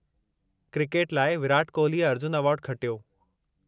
Cricket लाइ विराट कोल्हीअ अर्जुन अवार्डु खटियो।